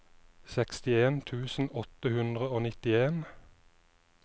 sekstien tusen åtte hundre og nitten